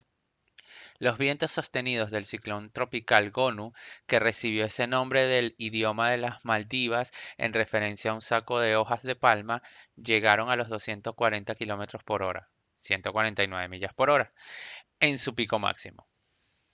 los vientos sostenidos del ciclón tropical gonu que recibió ese nombre del idioma de las maldivas en referencia a un saco de hojas de palma llegaron a los 240 km/h 149 mph en su pico máximo